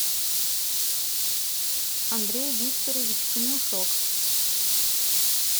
андрей викторович конюшок